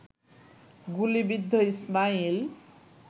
গুলিবিদ্ধ ইসমাইল